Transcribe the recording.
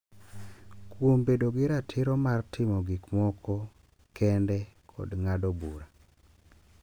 Kuom bedo gi ratiro mar timo gik moko kende kod ng’ado bura,